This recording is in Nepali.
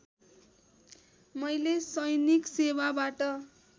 मैले सैनिक सेवाबाट